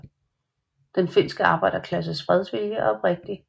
Den finske arbejderklasses fredsvilje er oprigtig